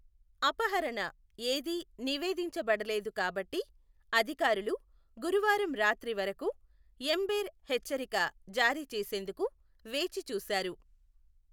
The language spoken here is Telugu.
అపహరణ ఏది నివేదించబడలేదు కాబట్టి, అధికారులు గురువారం రాత్రి వరకు ఎమ్బెర్ హెచ్చరిక జారీ చేసేందుకు వేచిచూశారు.